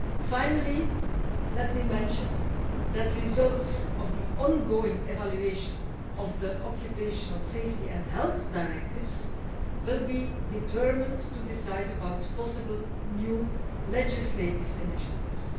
Finally, let me mention that the results of the ongoing evaluation of the occupational safety and health directives will be determined to decide about possible new legislative initiatives.